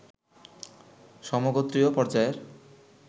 সমগোত্রীয় পর্যায়ের